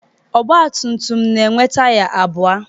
Ọgba tum tum na-enwe taya abụọ.